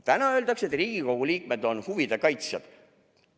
Täna öeldakse, et ka Riigikogu liikmed on huvide kaitsjad.